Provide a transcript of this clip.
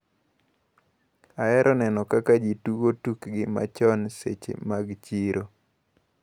Ahero neno kaka ji tugo tukni machon seche mag chiro.